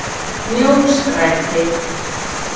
Mjóstræti